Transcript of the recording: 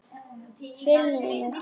Filmuna takk!